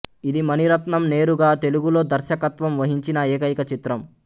ఇది మణిరత్నం నేరుగా తెలుగులో దర్శకత్వం వహించిన ఏకైక చిత్రం